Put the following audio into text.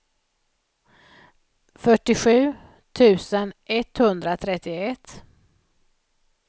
fyrtiosju tusen etthundratrettioett